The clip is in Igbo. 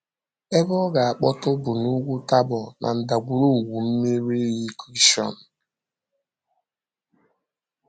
Ebe ọ̀ ga-akpọtụ̀ bụ n’Úgwù Tabor na ndàgwurùgwù mmiri iyi Kishọn.